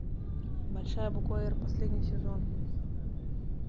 большая буква р последний сезон